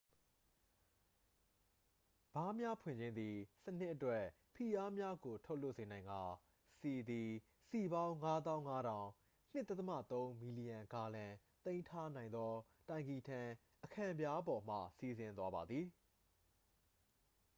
ဗားများဖွင့်ခြင်းသည် စနစ်အတွက် ဖိအားများကိုလွှတ်ထုတ်စေနိုင်ကာ ဆီသည် စည်ပေါင်း ၅၅၀၀၀ ၂.၃ မီလီယံဂါလံ သိမ်းထားနိုင်သောတိုင်ကီထံ အခံပြားပေါ်မှ စီးဆင်းသွားပါသည်။